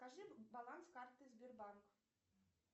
покажи баланс карты сбербанк